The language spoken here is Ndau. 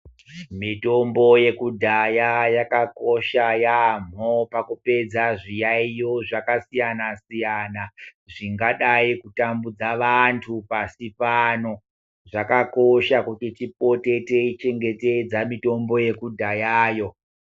Mitombo yekudhaya yakakosha yaamho pakupedza zviyaiyo zvakasiyana-siyana zvingadai kutambudza vantu pasi pano. Zvakakosha kuti tipote teichengetedza mitombo yekudhayayo.